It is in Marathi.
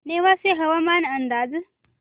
नेवासे हवामान अंदाज